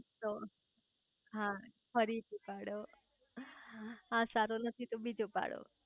તો હા ફરી થી પાડો આ સારો નથી તો બીજો પાડો